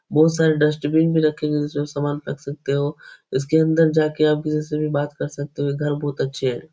बोहोत सारे डस्ट्बिन भी रखे हुए हैं जिसमे आप सामान फेक सकते हो। इसके अंदर जाके आप किसी से भी बात कर सकते हो। ये घर बहुत अच्छे है।